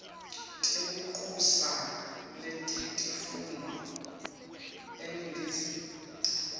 tebuncusa netitfunywa eningizimu